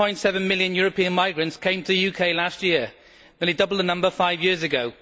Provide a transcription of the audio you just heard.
1.7 million European migrants came to the UK last year, nearly double the number five years ago.